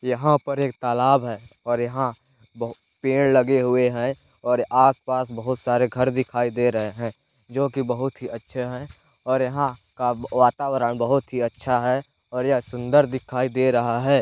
यहाँ पर एक तालाब है और यहाँ बहु पेड़ लगे हुए हैं और आसपास बहुत सारे घर दिखाई दे रहे हैं जो की बहुत ही अच्छे हैं और यहाँ का वातावरण बहुत ही अच्छा है और यह सुंदर दिखाई दे रहा है।